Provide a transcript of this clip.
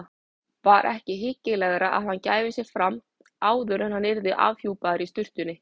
Var ekki hyggilegra að gefa sig fram áður en hann yrði afhjúpaður í sturtunni?